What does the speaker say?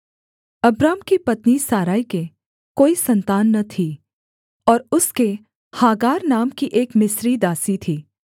Abram की पत्नी Sarai के कोई सन्तान न थी और उसके हागार नाम की एक मिस्री दासी थी